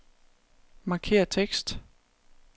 Markér tekst.